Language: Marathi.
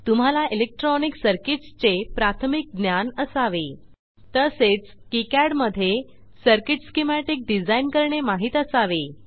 तुम्हाला इलेक्ट्रॉनिक सर्किट्स चे प्राथमिक ज्ञान असावे तसेच किकाड मध्ये सर्किट स्कीमॅटिक डिझाइन करणे माहित असावे